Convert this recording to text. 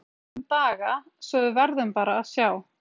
Það gæti tekið fjóra til fimm daga, svo að við verðum bara að sjá.